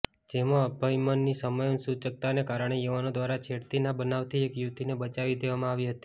જેમાં અભયમની સમય સૂચક્તાને કારણે યુવાનો દ્વારા છેડતીના બનાવથી એક યુવતીને બચાવી દેવામાં આવી હતી